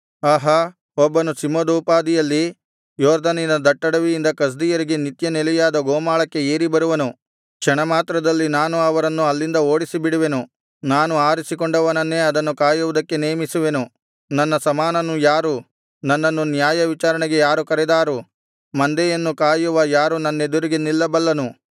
ಆಹಾ ಒಬ್ಬನು ಸಿಂಹದೋಪಾದಿಯಲ್ಲಿ ಯೊರ್ದನಿನ ದಟ್ಟಡವಿಯಿಂದ ಕಸ್ದೀಯರಿಗೆ ನಿತ್ಯನೆಲೆಯಾದ ಗೋಮಾಳಕ್ಕೆ ಏರಿ ಬರುವನು ಕ್ಷಣಮಾತ್ರದಲ್ಲಿ ನಾನು ಅವರನ್ನು ಅಲ್ಲಿಂದ ಓಡಿಸಿಬಿಡುವೆನು ನಾನು ಆರಿಸಿಕೊಂಡವನನ್ನೇ ಅದನ್ನು ಕಾಯುವುದಕ್ಕೆ ನೇಮಿಸುವೆನು ನನ್ನ ಸಮಾನನು ಯಾರು ನನ್ನನ್ನು ನ್ಯಾಯವಿಚಾರಣೆಗೆ ಯಾರು ಕರೆದಾರು ಮಂದೆಯನ್ನು ಕಾಯುವ ಯಾರು ನನ್ನೆದುರಿಗೆ ನಿಲ್ಲಬಲ್ಲನು